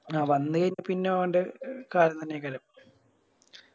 ആ വന്ന് പിന്നെ ഓൻറെ കാലം തന്നെയായിക്കല്ലോ